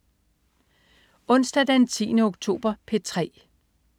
Onsdag den 10. oktober - P3: